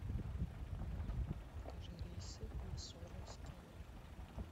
покажи рейсы в мосоро из кены